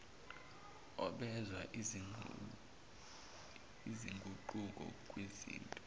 obenza izinguquko kwizinto